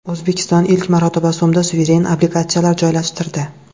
O‘zbekiston ilk marotaba so‘mda suveren obligatsiyalar joylashtirdi.